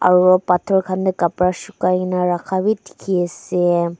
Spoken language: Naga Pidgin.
aru pathor khan tae karpa sukai na rakha vi dekhi asa.